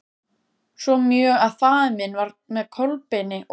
Svo mjög að faðir minn var með Kolbeini og